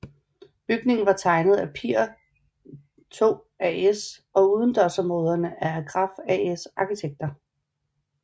Bygningen er tegnet af Pir II AS og udendørsområderne af Agraff AS arkitekter